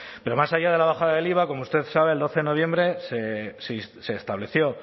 pero más allá de la bajada del iva como usted sabe el doce de noviembre se estableció